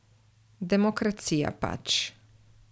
Demokracija pač.